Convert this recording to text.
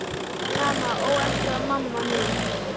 Mamma, ó elsku mamma mín.